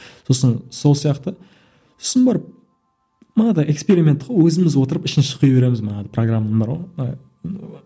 сосын сол сияқты сосын барып анадай эксперимент қой өзіміз отырып ішін шұқи береміз мана программа бар ғой